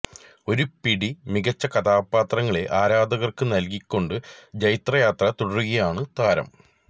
ഒരു പിടി മികച്ച കഥാപാത്രങ്ങളെ ആരാധകർക്ക് നൽകി കൊണ്ട് ജൈത്രയാത്ര തുടരുകയാണ് താരം